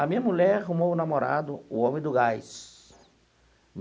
A minha mulher arrumou um namorado, o homem do gás.